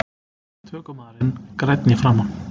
Tökumaðurinn grænn í framan